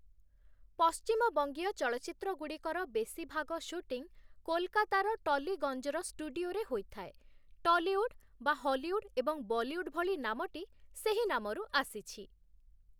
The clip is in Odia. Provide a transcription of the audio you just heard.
ପଶ୍ଚିମବଙ୍ଗୀୟ ଚଳଚ୍ଚିତ୍ରଗୁଡ଼ିକର ବେଶୀ ଭାଗ ଶୁଟିଂ କୋଲକାତାର ଟଲିଗଞ୍ଜର ଷ୍ଟୁଡିଓରେ ହୋଇଥାଏ, 'ଟଲିଉଡ୍' (ହଲିଉଡ୍ ଏବଂ ବଲିଉଡ୍ ଭଳି) ନାମଟି ସେହି ନାମରୁ ଆସିଛି ।